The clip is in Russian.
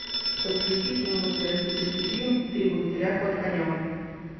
подключи кинематографический фильм три богатыря ход конем